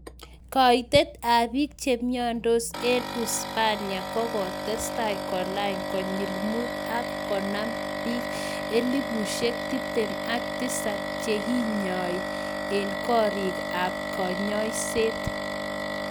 Kaitet ap piik chemiandos eng uisapania kokotestai kolany konyil muut ak konam piik elefusiek tiptem ak tisap chekinyai eng korik ap kanyoiset